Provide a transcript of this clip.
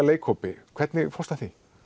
leikhópi hvernig fórstu að því